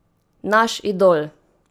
Naš idol!